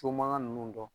So mankan ninnu dɔn